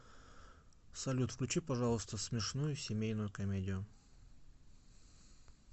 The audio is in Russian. салют включи пожалуйста смешную семейную комедию